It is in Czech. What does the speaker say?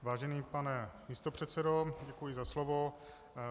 Vážený pane místopředsedo, děkuji za slovo.